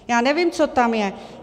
Já nevím, co tam je.